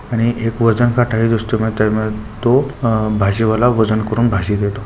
आणि एक वजनकाटा आहे अह भाजीवाला वजन करून भाजी देतो.